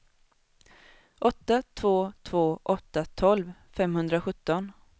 åtta två två åtta tolv femhundrasjutton